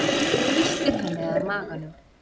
Þrýstir henni að maganum.